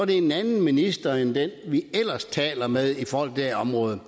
det en anden minister end den vi ellers taler med i forhold til det område